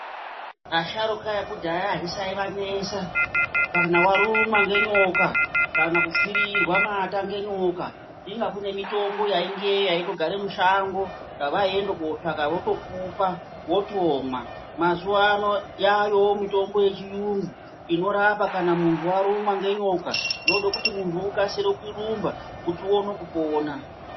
Asharukwa ekudhaya azvisaivanesa. Kana warumwa ngenyoka, kana kupfirirwa mata ngenyoka, inga kune mitombo yaingeyo yaitogare mushango, yavaienda kotsvaka votokupa wotomwa. Mazuwano yaayowo mitombo yechiyungu, inorapa kana muntu warumwa ngenyoka. Zvoda kuti munhu ukasire kurumba kuti uone kupona.